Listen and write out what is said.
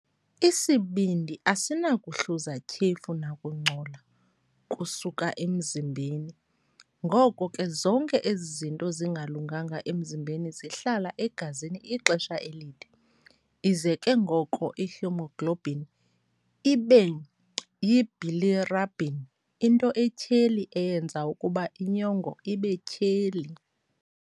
Isibindi asinakuhluza tyhefu nakungcola kusuka emzimbeni, ngoko ke zonke ezi zinto zingalunganga emzimbeni zihlala egazini ixesha elide. Ize ke ngoko ihemoglobin ibe yibilirubin, into etyheli eyenza ukuba inyongo ibetyheli.